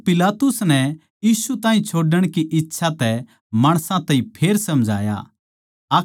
पर पिलातुस नै यीशु ताहीं छोड़ण की इच्छा तै माणसां ताहीं फेर समझाया